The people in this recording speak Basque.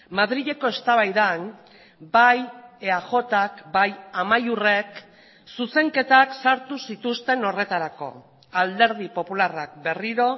madrileko eztabaidan bai eajk bai amaiurrek zuzenketak sartu zituzten horretarako alderdi popularrak berriro